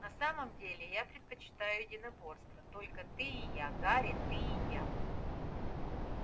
на самом-то деле я предпочитаю единоборство только ты и я гарри ты и я